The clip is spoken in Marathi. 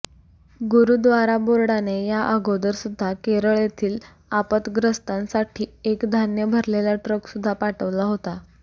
गुरूद्वारा बोर्डाने या अगोदर सुद्धा केरळ येथील आपतग्रस्तांसाठी एक धान्य भरलेला ट्रक सुद्धा पाठवला होता